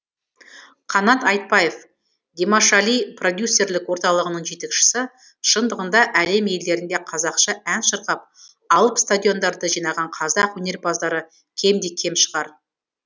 қанат айтбаев димашали продюсерлік орталығының жетекшісі шындығында әлем елдерінде қазақша ән шырқап алып стадиондарды жинаған қазақ өнерпаздары кемде кем шығар